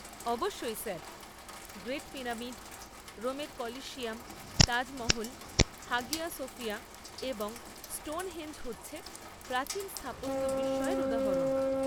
অবশ্যই sir. Great pyramid, রোমের colosseum, Taj Mahal, Hagia Sophia এবং স্টোনহেঞ্জ হচ্ছে প্রাচীন স্থাপত্য বিস্ময়ের উদাহরণ।